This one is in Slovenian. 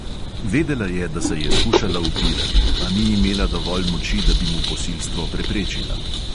Vedela je, da se je skušala upirati, a ni imela dovolj moči, da bi mu posilstvo preprečila.